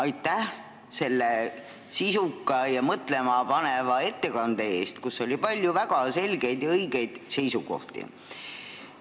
Aitäh selle sisuka ja mõtlemapaneva ettekande eest, kus oli palju väga selgeid ja õigeid seisukohti!